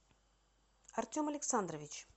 артем александрович